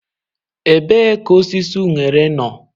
Ebee ka osisi unere no?.